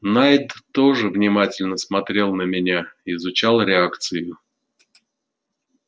найд тоже внимательно смотрел на меня изучал реакцию